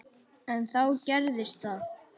En þá gerðist það.